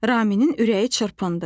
Raminin ürəyi çırpındı.